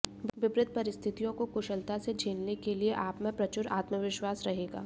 विपरीत परिस्थितियों को कुशलता से झेलने के लिये आपमें प्रचुर आत्मविश्वास रहेगा